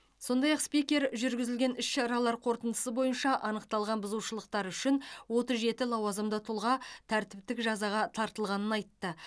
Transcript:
сондай ақ спикер жүргізілген іс шаралар қорытындысы бойынша анықталған бұзушылықтар үшін отыз жеті лауазымды тұлға тәртіптік жазаға тартылғанын айтты